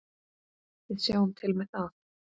Við sjáum til með það.